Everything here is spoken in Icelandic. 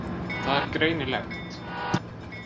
Það er greinilegt.